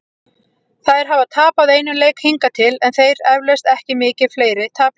Þær hafa tapað einum leik hingað til, en þeir eflaust ekki mikið fleiri- tapleikirnir.